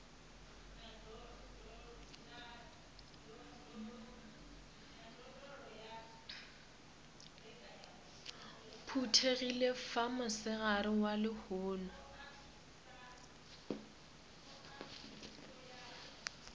phuthegile fa mosegareng wa lehono